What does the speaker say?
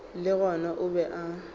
le gona o be a